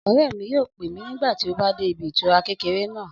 Ọ̀rẹ́ mi yóò pè mí nígbà tí a bá dé ibi ìtura kékeré náà